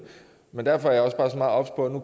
derfor er jeg også bare så meget obs på at